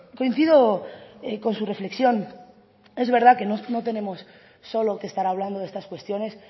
coincido con su reflexión es verdad que no tenemos solo que estar hablando de estas cuestiones